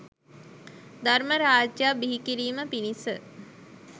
ධර්ම රාජ්‍යයක් බිහි කිරීම පිණිස